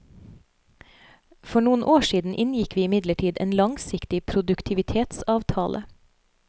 For noen år siden inngikk vi imidlertid en langsiktig produktivitetsavtale.